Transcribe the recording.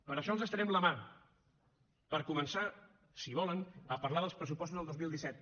per això els estenem la mà per començar si volen a parlar dels pressupostos del dos mil disset